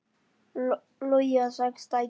Logi á sex dætur.